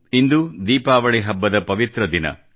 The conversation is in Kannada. ಇಂದು ದೀಪಾವಳಿ ಹಬ್ಬದ ಪವಿತ್ರ ದಿನ